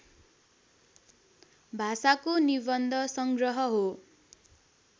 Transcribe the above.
भाषाको निबन्ध संग्रह हो